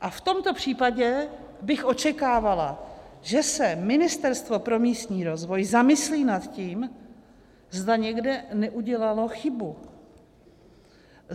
A v tomto případě bych očekávala, že se Ministerstvo pro místní rozvoj zamyslí nad tím, zda někde neudělalo chybu.